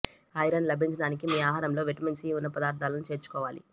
iron లభించడానికి మీ ఆహారంలో విటమిన్ సి ఉన్న పదార్థాలను చేర్చుకోవాలి